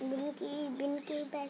बिन की बिन की ब--